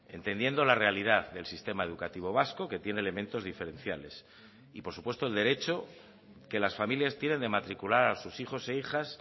entendiendo la realidad del sistema educativo vasco que tiene elementos diferenciales y por supuesto el derecho que las familias tienen de matricular a sus hijos e hijas